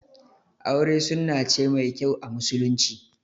Aure sunna ce mai kyau a musulunci